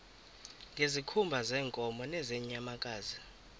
ngezikhumba zeenkomo nezeenyamakazi